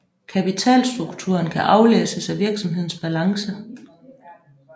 Kapitalstrukturen kan aflæses af virksomhedens balance